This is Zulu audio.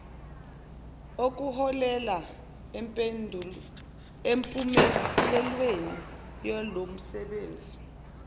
okuholele empumelelweni yalomsebenzi